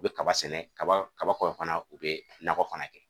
U be kaba sɛnɛ, kaba kaba kɔfɛ fana u be nakɔ fana kɛ.